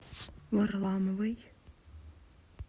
варламовой